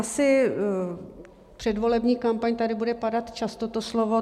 Asi předvolební kampaň, tady bude padat často to slovo.